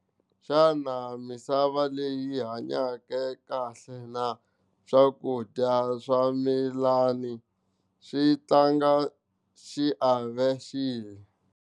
Xana misava leyi hanyake kahle na swakudya swa ximilani swo tlanga xiave xihi?